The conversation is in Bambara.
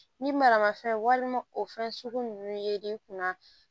Ni maramafɛn walima o fɛn sugu nunnu ye i kunna